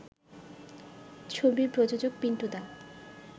ছবির প্রযোজক পিন্টু দা